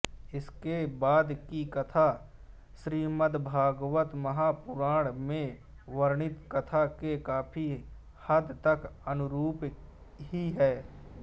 इसके बाद की कथा श्रीमद्भागवतमहापुराण में वर्णित कथा के काफी हद तक अनुरूप ही है